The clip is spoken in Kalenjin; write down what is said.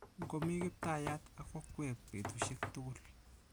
Ngomi Kiptayat ak okwek betushiek tugul.